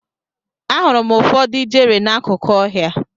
Ahụrụ m ụfọdụ ijere n'akụkụ ọhịa.